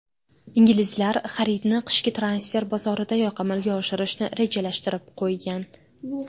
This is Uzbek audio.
Inglizlar xaridni qishki transfer bozoridayoq amalga oshirishni rejalashtirib qo‘ygan.